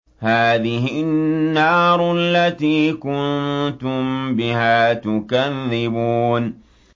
هَٰذِهِ النَّارُ الَّتِي كُنتُم بِهَا تُكَذِّبُونَ